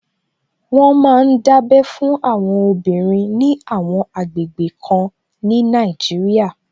Wọ́n ma ń dábẹ́ fún àwọn obìnrin ní àwọn àgbègbè kan ní Nàìjíríà